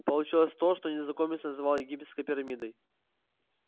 получилось то что незнакомец называл египетской пирамидой